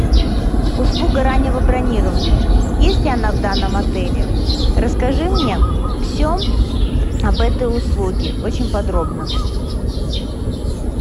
услуга раннего бронирования есть ли она в данном отеле расскажи мне все об этой услуге очень подробно